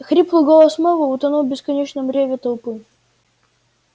хриплый голос мэллоу утонул в бесконечном рёве толпы